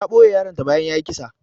Ta ɓoye yaron ta bayan yayi kisa.